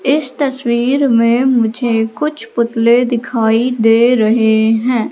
इस तस्वीर में मुझे कुछ पुतले दिखाई दे रहे हैं।